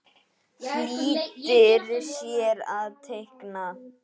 Flýtir sér að teikna.